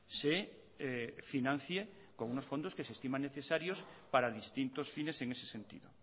se financie con unos fondos que se estiman necesarios para distintos fines en ese sentido